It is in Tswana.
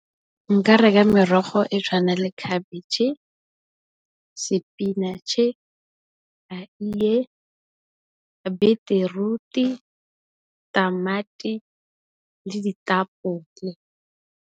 Nka reka merogo e tshwana le khabetšhe, spinach, eie, beteruti, tamati le ditapole.